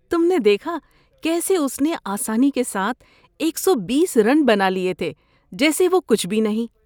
تم نے دیکھا کیسے اس نے آسانی کے ساتھ ایک سو بیس رن بنا لیے تھے جیسے وہ کچھ بھی نہیں